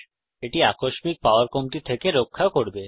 এটি আকস্মিক পাওয়ার কমতি থেকে আপনাকে রক্ষা করবে